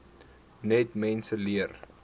net mense leer